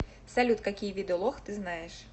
салют какие виды лох ты знаешь